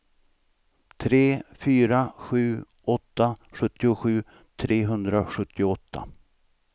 tre fyra sju åtta sjuttiosju trehundrasjuttioåtta